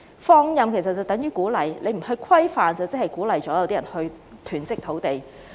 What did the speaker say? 放任等於鼓勵，政府不規範便是鼓勵部分人囤積土地。